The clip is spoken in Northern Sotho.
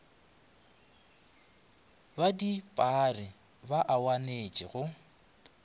ba dipaaari ba awanetše go